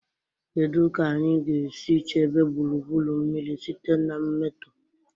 Kedu ka anyị ga-esi chebe gburugburu mmiri site na mmetọ?